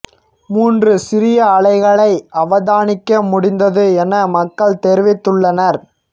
மூன்று சிறிய அலைகளை அவதானிக்க முடிந்தது என மக்கள் தெரிவித்துள்ளனர்